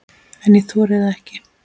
En ég þori það ekki.